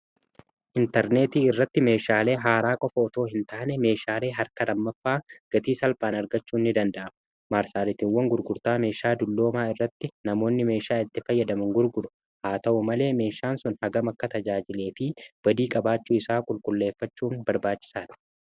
Intarneetii irratti meeshaalee haaraa qofa otoo hin taane meeshaalee harka lammaffaa gatii salphaan argachuu ni danda'ama maarsaaritiiwwan gurgurtaa meeshaa dulloomaa irratti namoonni meeshaa itti fayyadamuun gurgura haa ta'u malee meeshaan sun hagam akka tajaajilee fi badii qabaachuu isaa qulqulleeffachuun barbaachisaadha.